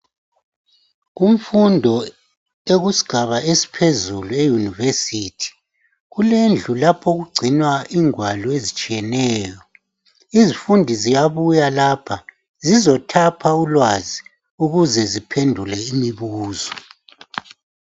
Kumfundo ekusigaba esiphezulu yunivesithi kulendlu lapho okugcinwa ingwalo ezitshiyeneyo izifundi ziyabuya lapha zizothapha ulwazi ukuze ziphendule imibuzo.